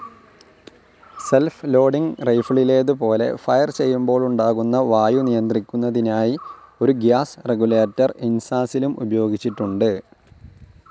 Self loading റൈഫിളിലേതുപോലെ fire ചെയ്യുമ്പോളുണ്ടാകുന്ന വായു നിയന്ത്രിക്കുന്നതിനായി ഒരു ഗ്യാസ്‌ റെഗുലേറ്റർ ഇൻസാസിലും ഉപയോഗിച്ചിട്ടുണ്ട്.